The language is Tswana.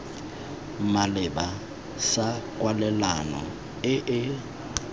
maleba sa kwalelano e e